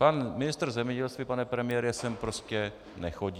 Pan ministr zemědělství, pane premiére, sem prostě nechodí.